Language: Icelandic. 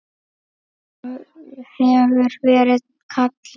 Það hefur verið kallað